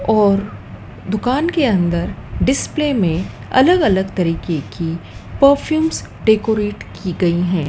और दुकान के अंदर डिस्प्ले में अलग अलग तरीके की परफ्यूम्स डेकोरेट की गई हैं।